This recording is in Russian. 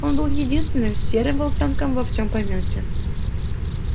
он был единственным серым волчонком во всем помете